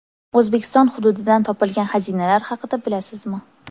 O‘zbekiston hududidan topilgan xazinalar haqida bilasizmi?.